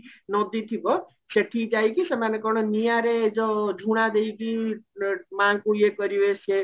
ନଦୀ ଥିବା ସେଠି ଯାଇକି ସେମାନେ କଣ ନିଆଁରେ ଯୋ ଝୁଣା ଦେଇକି ମାଙ୍କୁ ଇଏ କରିବେ ସେ